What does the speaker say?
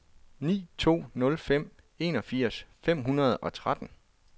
ni to nul fem enogfirs fem hundrede og tretten